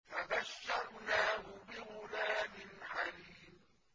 فَبَشَّرْنَاهُ بِغُلَامٍ حَلِيمٍ